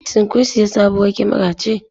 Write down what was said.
Shin kun sayi sabuwar kyamara ce?